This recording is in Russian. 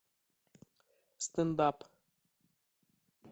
стендап